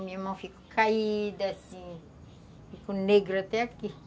Minha mão ficou caída, assim... ficou negra até aqui.